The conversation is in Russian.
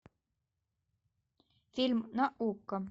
фильм на окко